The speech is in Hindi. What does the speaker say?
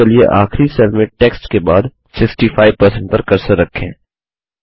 अतः चलिए आखिरी सेल में टेक्स्ट के बाद 65 पर कर्सर रखें